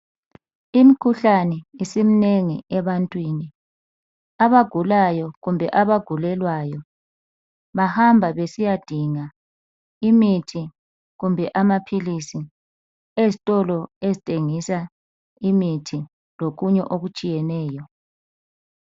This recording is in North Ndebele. Imikhuhlane isiminengi ebantwini. Abagulayo kumbe abagulelwayo bahamba besiyadinga imithi kumbe amaphilisi ezitolo ezithengisa imithi lokunye okutshiyeneyo.